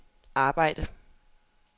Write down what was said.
arbejd